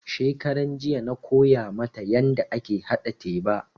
Shekaranjiya na koya mata yanda ake haɗa teba